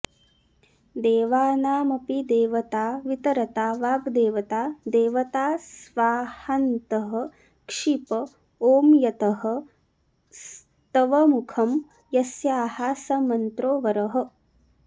देवानामपि देवता वितरता वाग्देवता देवता स्वाहान्तः क्षिप ॐ यतः स्तवमुखं यस्याः स मन्त्रो वरः